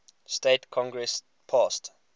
states congress passed